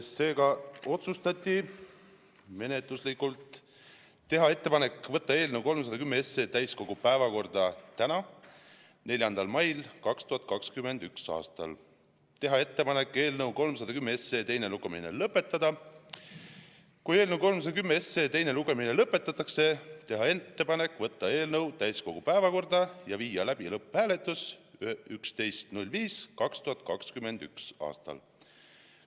Seega otsustati menetluslikult teha ettepanek võtta eelnõu 310 täiskogu päevakorda täna, 4. mail 2021. aastal; teha ettepanek eelnõu 310 teine lugemine lõpetada; kui eelnõu 310 teine lugemine lõpetatakse, siis teha ettepanek võtta eelnõu täiskogu päevakorda ja viia läbi lõpphääletus 11. mail 2021. aastal.